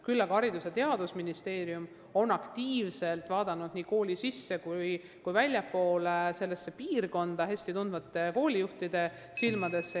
Küll aga on Haridus- ja Teadusministeerium ise aktiivselt otsinud inimest kooli seest ja väljastpoolt ning vaadanud seda piirkonda hästi tundvate koolijuhtide silmadesse.